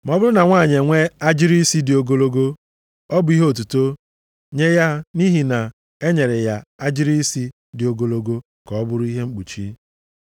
Ma ọ bụrụ na nwanyị enwee agịrị isi dị ogologo ọ bụ ihe otuto nye ya nʼihi na e nyere ya agịrị isi dị ogologo ka ọ bụrụ ihe mkpuchi.